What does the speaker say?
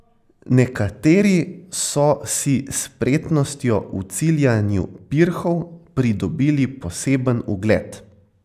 Nekateri so si s spretnostjo v ciljanju pirhov pridobili poseben ugled.